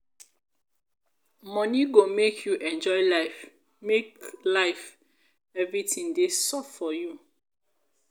money go make you enjoy life make life everything dey soft for you.